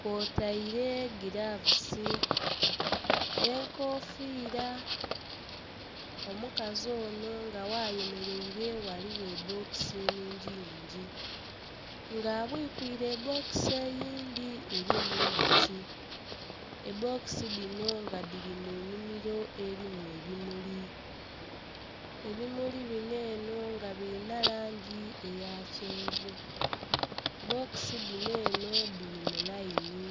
kwo taire gilavusi, enkofira, omukazi onho nga gha yemereire ghaligho bbokisi inhingi yingi nga abwikwire bbokisi eyindhi erimu indhoki, ebbokisi dhino nga dhiri mu nhimiro erimu ebimuli. ebimuli bino enho nga birina langi eya kyenvu, bbokisi dhino enho dhiri mu lainhi.